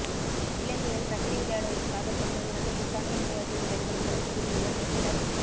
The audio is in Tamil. இலங்கையில் ரக்பி விளையாடுவதற்காக சென்ற இரண்டு பிரித்தானிய விளையாட்டு வீரர்கள் கொழும்புவில் உள்ள நைட் கிளப்